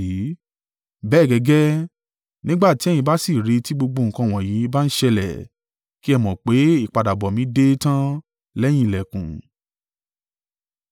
Bẹ́ẹ̀ gẹ́gẹ́, nígbà tí ẹ̀yin bá sì rí i tí gbogbo nǹkan wọ̀nyí bá ń ṣẹlẹ̀, kí ẹ mọ̀ pé ìpadàbọ̀ mi dé tán lẹ́yìn ìlẹ̀kùn.